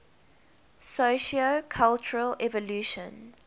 sociocultural evolution